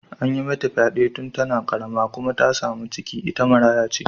An yi mata fyade tun tana karama kuma ta samu ciki kuma ita maraya ce.